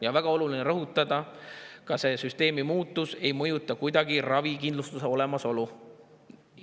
Ja on väga oluline rõhutada, et selle süsteemi muutus ei mõjuta kuidagi ravikindlustuse olemasolu.